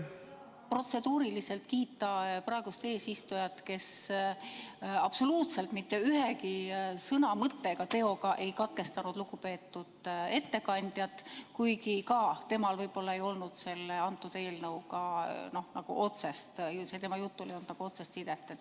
Tahtsin protseduuriliselt kiita praegust eesistujat, kes absoluutselt mitte ühegi sõna, mõtte ega teoga ei katkestanud lugupeetud ettekandjat, kuigi ka tema jutul võib-olla ei olnud selle eelnõuga otsest sidet.